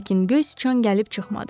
Lakin Göz Sichan gəlib çıxmadı.